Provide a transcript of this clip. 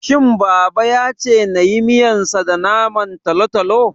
shin baba yace nayi miyansa da Naman talotalo?